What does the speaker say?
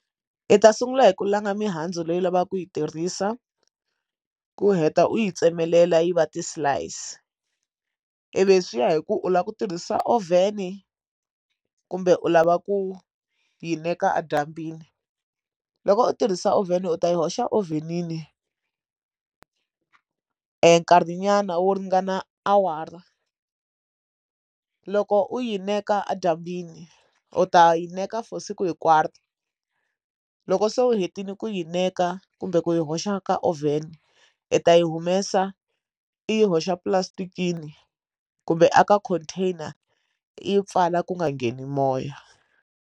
I ta sungula hi ku langa mihandzu leyi u lavaka ku yi tirhisa ku heta u yi tsemelela yi va ti-slice ivi swiya hi ku u lava ku tirhisa oven kumbe u lava ku yi neka edyambyini loko u tirhisa oven u ta yi hoxa oven-ini u nkarhinyana wo ringana awara loko u yi neka edyambini u ta yi neka for siku hinkwaro loko so u hetile ku yi neka kumbe ku yi hoxa ka oven i ta yi humesa i yi hoxa plastic-ini kumbe aka container yi pfala ku nga ngheni moya.